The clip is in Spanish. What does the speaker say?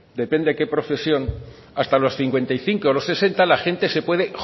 depende de qué profesión hasta los cincuenta y cinco los sesenta la gente se puede